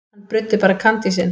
Hann bruddi bara kandísinn.